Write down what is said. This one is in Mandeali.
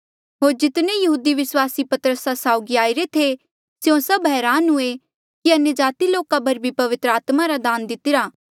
होर जितने यहूदी विस्वासी पतरसा साउगी आईरे थे स्यों सभ हरान हुए कि अन्यजाति लोका पर भी पवित्र आत्मा रा दान दितरा